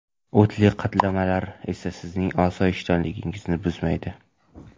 O‘tli qaynatmalar esa sizning osoyishtaligingizni buzmaydi.